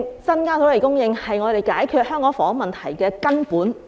增加土地供應是我們解決香港房屋問題的根本。